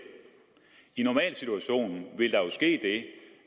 i normalsituationen vil der jo ske det